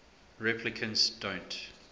replicants don't